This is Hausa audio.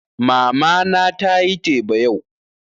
Mama na tayi teba yau